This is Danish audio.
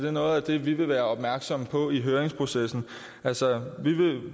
er noget af det vi vil være opmærksomme på i høringsprocessen altså